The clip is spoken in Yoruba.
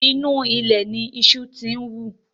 Inú ilẹ̀ ni iṣu ti ń wù